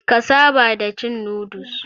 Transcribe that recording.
Ka saba da cin noodles.